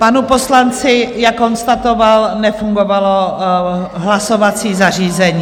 Panu poslanci, jak konstatoval, nefungovalo hlasovací zařízení.